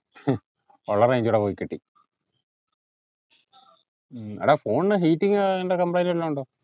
ഒള്ള range കൂടെ പോയി കിട്ടി എടാ phone ന് heating ഏർ ന്ത complaint വല്ലോം ഒണ്ടോ